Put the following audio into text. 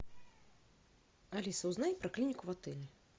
алиса узнай про клинику в отеле